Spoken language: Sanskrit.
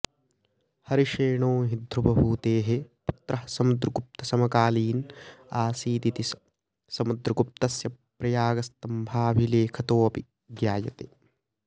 हरिषेणो हि ध्रुवभूतेः पुत्रः समुद्रगुप्तसमकालीन आसीदिति समद्रगुप्तस्य प्रयागस्तम्भाभिलेखतोऽपि ज्ञायते